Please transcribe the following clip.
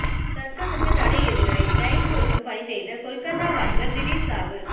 சர்க்கசுக்கு தடை எதிரொலி டைல்ஸ் ஒட்டும் பணி செய்த கொல்கத்தா வாலிபர் திடீர் சாவு